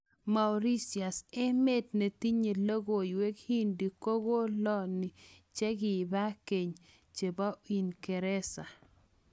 Mauritius, emet netinye logowek hindi ko koloni che kipa ng'en chepo ungereza